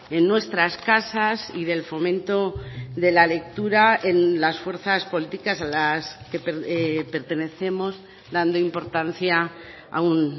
en nuestras casas y del fomento de la lectura en las fuerzas políticas a las que pertenecemos dando importancia a un